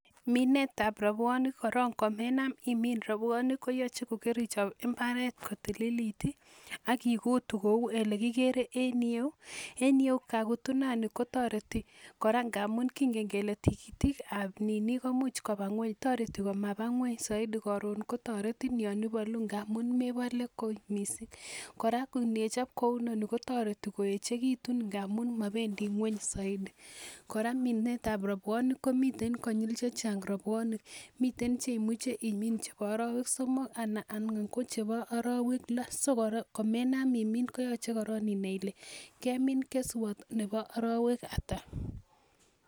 Minetab rabuonik koron komenam imin koyachei kokaichop mbaret kotililit ak ikutu kou ele kigere en you. En you kakutunani kotoreti kora ngamun kingen kele tigitikab nini komuch koba ng'weny. Toreti komaba ng'weny soiti karon kotoretin yon ipolu ngamun mepole kot mising. Kora ngechop kou inoni kotoreti koechekitu ngamun mapendi ng'weny soidi. Kora minetab rabwomik komi konyil chechang rabuonik. Mitei cheimuche imin chebo arowek somok anan ko ang''wan ko chebo arowek loo. So komenam imin koyachei inai ile kemin keswat nebo arawek ata.